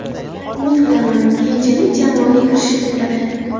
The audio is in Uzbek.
Umid qilaman, keyinchalik jamoaga kirishib ketadi.